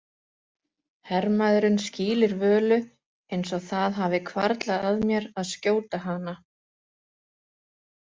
Hermaðurinn skýlir Völu eins og það hafi hvarflað að mér að skjóta hana.